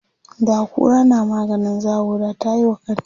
da kura na maganin zawo da tayiwa kanta